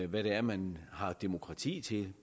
hvad det er man har demokrati til